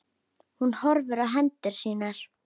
Hún horfir á hendur sínar.